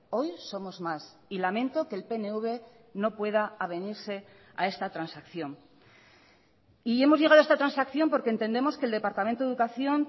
hoy somos más y lamento que el pnv no pueda avenirse a esta transacción y hemos llegado a esta transacción porque entendemos que el departamento de educación